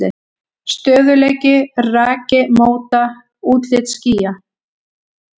Stöðugleiki og raki móta útlit skýja.